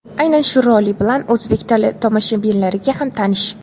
Aynan shu roli bilan o‘zbek teletomoshabinlariga ham tanish.